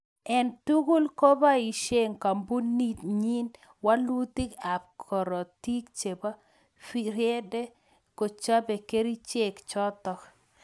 Eng tugul kopaishe kampunit nyii walutik ap korotik chepo friede kochopee kericheek chotok